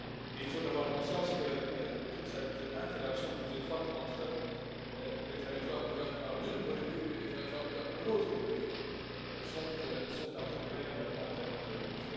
Il faut avoir conscience que toute cette interaction plus étroite entre les territoires couverts par une politique et les territoires couverts par une autre politique est un progrès également en termes de cohérence.